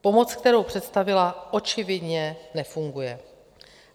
Pomoc, kterou představila, očividně nefunguje.